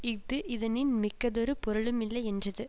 இஃது இதனின் மிக்கதொரு பொருளுமில்லை யென்றது